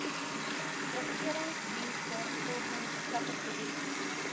regeringsdienste volgens kategorie